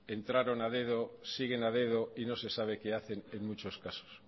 entraron a dedo siguen a dedo y no se sabe que hacen en muchos casos